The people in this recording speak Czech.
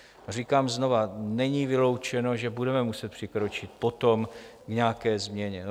Říkám znovu, není vyloučeno, že budeme muset přikročit potom k nějaké změně.